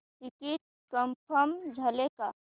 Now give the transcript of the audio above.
ticket confirm झाले का